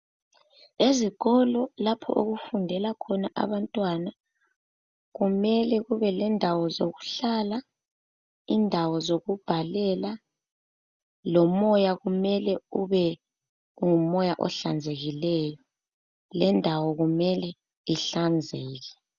Ezikolo lapho okufundela khona abantwana kumele kube lendawo zokuhlala indawo zokubhalela lomoya kumele ube ngumoya ohlanzekileyo lendawo kumele ihlanzeke.